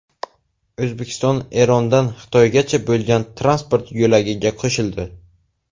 O‘zbekiston Erondan Xitoygacha bo‘lgan transport yo‘lagiga qo‘shildi.